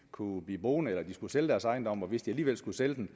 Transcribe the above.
kunne blive boende eller skulle sælge deres ejendom og hvis de alligevel skulle sælge den